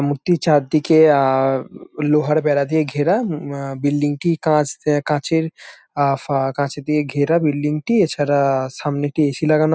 মূর্তির চারদিকে আহ লোহার বেড়া দিয়ে ঘেরা আহ বিল্ডিং -টি কাঁচ কাঁচের আ ফা কাঁচ দিয়ে ঘেরা বিল্ডিং - টি। এছাড়া-আ সামনে একটি এ.সি. লাগানো।